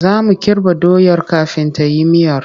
Za mu kirɓa doyar kafin ta yi miyar.